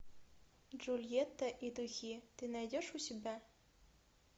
джульетта и духи ты найдешь у себя